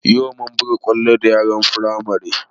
Yau mun buga kwallo da yaran Firamare